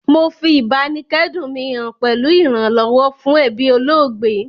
Mo fi ìbáníkẹ́dùn mi han pẹ̀lu ìrànlọ́wọ́ fún ebí olóògbé